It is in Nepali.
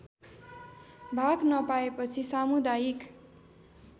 भाग नपाएपछि सामुदायिक